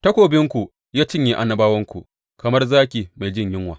Takobinku ya cinye annabawanku kamar zaki mai jin yunwa.